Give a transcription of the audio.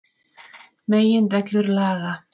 Meginreglur laga.